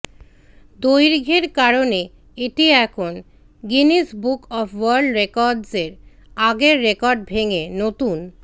দৈর্ঘ্যের কারণে এটি এখন গিনেস বুক অব ওয়ার্ল্ড রেকর্ডসর আগের রেকর্ড ভেঙে নতুন